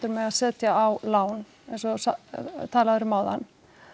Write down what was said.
mega setja á lán eins og þú talaðir um áðan